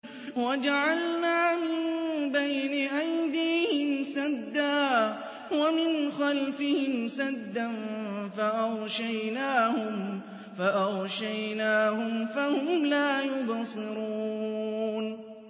وَجَعَلْنَا مِن بَيْنِ أَيْدِيهِمْ سَدًّا وَمِنْ خَلْفِهِمْ سَدًّا فَأَغْشَيْنَاهُمْ فَهُمْ لَا يُبْصِرُونَ